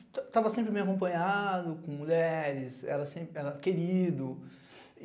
Estava sempre me acompanhando, com mulheres, era querido.